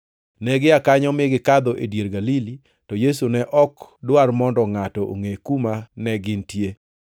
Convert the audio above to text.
Negia kanyo mi gikadho e dier Galili, to Yesu ne ok dwar mondo ngʼato ongʼe kuma negintie,